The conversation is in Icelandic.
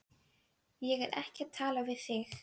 Ég er ekki að tala við þig.